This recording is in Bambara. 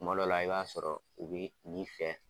Kuma dɔ la i b'a sɔrɔ u bɛ nin fɛ.